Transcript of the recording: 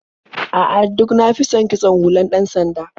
A'a, duk na fi son kitson hular ɗan-sanda.